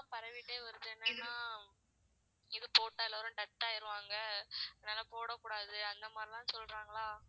வருது என்னனா இது போட்டால் death ஆயிருவாங்க. அதனால போடக்கூடாது. அந்த மாதிரிலாம் சொல்றாங்களா